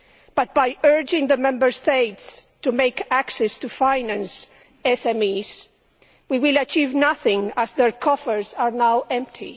But by urging the Member States to create access to finance for SMEs, we will achieve nothing, as their coffers are now empty.